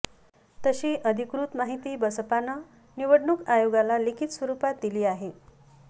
तशी अधिकृत माहिती बसपानं निवडणूक आयोगाला लिखित स्वरुपात दिली आहे